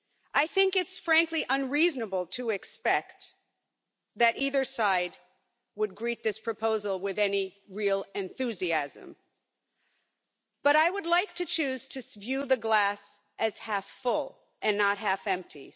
I think it's frankly unreasonable to expect that either side would greet this proposal with any real enthusiasm, but I would like to choose to view the glass as half full and not half empty.